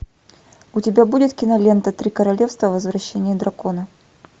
у тебя будет кинолента три королевства возвращение дракона